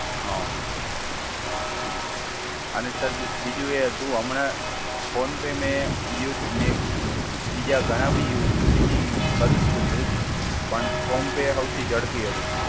હા હમ્મ. અને સર બીજું એ હતું. હમણાં ફોન પે મેં યુઝ મેં બીજા ઘણા બી યુઝ બીજી કરું જ છું યુઝ. પણ ફોન પે હૌથી ઝડપથી હતું.